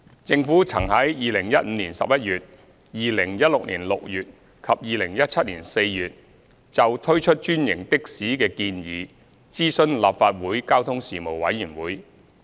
政府曾於2015年11月、2016年6月及2017年4月就推出專營的士的建議諮詢立法會交通事務委員會。